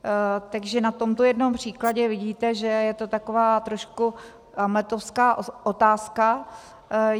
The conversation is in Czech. Takže na tomto jednom příkladě vidíte, že je to taková trošku hamletovská otázka.